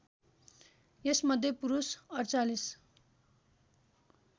यसमध्ये पुरुष ४८